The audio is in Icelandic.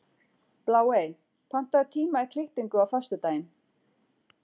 Bláey, pantaðu tíma í klippingu á föstudaginn.